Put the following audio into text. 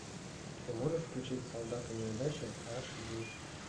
ты можешь включить солдаты неудачи аш ди